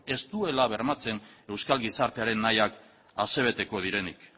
ez duela bermatzen euskal gizartearen nahiak asebeteko direnik